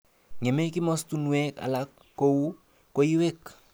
Ngemei kimostunwek alak kou koiwek.